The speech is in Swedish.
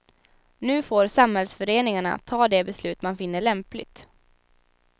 Nu får samhällsföreningarna ta de beslut man finner lämpligt.